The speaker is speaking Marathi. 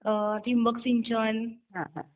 ठिबक सिंचन